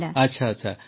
ଆଚ୍ଛା